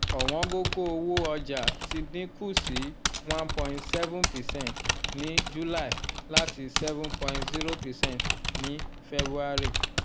owongogo owo ọjà ti dín kù sí one point seven percent ní july látiseven point zero percent ní february